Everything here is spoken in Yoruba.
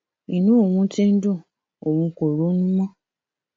inú òun tí ń dun òun kò ronú mọ